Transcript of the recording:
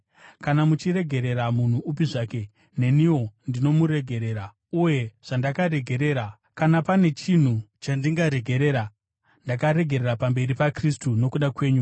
Kana muchiregerera munhu upi zvake neniwo ndinomuregerera. Uye zvandakaregerera, kana pane chinhu chandingaregerera, ndakaregerera pamberi paKristu nokuda kwenyu,